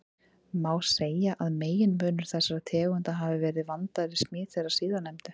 Má segja að meginmunur þessara tegunda hafi verið vandaðri smíð þeirra síðarnefndu.